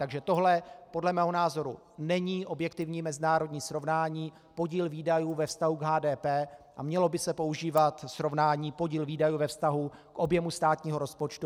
Takže tohle podle mého názoru není objektivní mezinárodní srovnání, podíl výdajů ve vztahu k HDP, a mělo by se používat srovnání podíl výdajů ve vztahu k objemu státního rozpočtu.